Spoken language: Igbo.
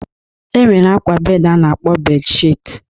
E nwere akwa bed a na-akpọ bed shit.